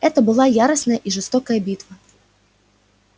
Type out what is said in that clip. это была яростная и жестокая битва